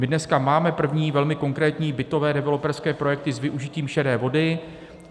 My dneska máme první, velmi konkrétní bytové developerské projekty s využitím šedé vody.